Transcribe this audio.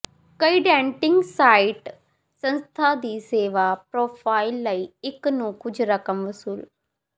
ਕਈ dating site ਸੰਸਥਾ ਦੀ ਸੇਵਾ ਪਰੋਫਾਈਲ ਲਈ ਇੱਕ ਨੂੰ ਕੁਝ ਰਕਮ ਵਸੂਲ